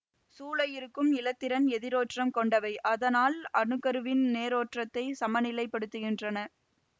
சூழ இருக்கும் இலத்திரன்கள் எதிரேற்றம் கொண்டவை அதனால் அணுக்கருவின் நேரேற்றத்தைச் சமநிலைப் படுத்துகின்றன